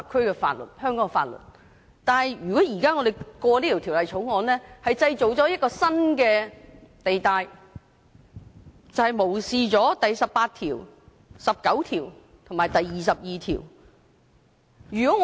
如果現時通過《條例草案》，會製造一個新的地帶，這便是無視《基本法》第十八條、第十九條及第二十二條。